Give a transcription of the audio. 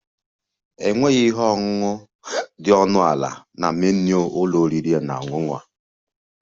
Enweghị ihe ọṅụṅụ dị ọnụ ala na menu ụlọ oriri na ọṅụṅụ